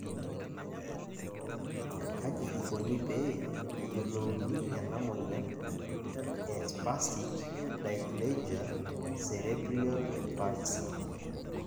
kaji ikoni pee eyiolouni ena moyian e spastic diplegia cerebral palsy?